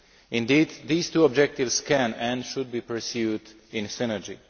Indeed, these two objectives can and should be pursued in synergy.